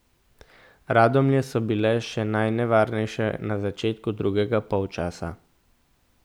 Radomlje so bile še najnevarnejše na začetku drugega polčasa.